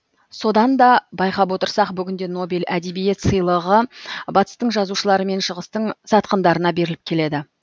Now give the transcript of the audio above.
содан да байқап отырсақ бүгінде нобель әдебиет сыйлығы батыстың жазушылары мен шығыстың сатқындарына беріліп келеді